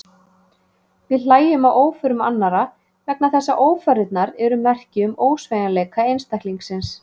Við hlæjum að óförum annarra vegna þess að ófarirnar eru merki um ósveigjanleika einstaklingsins.